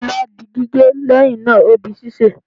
ila di gige, leyin naa, O di sise